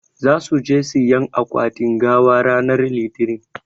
Zasu je siƴan akwatin gawa ranan litinin.